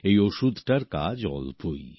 এই ওষুধটার কাজ অল্পই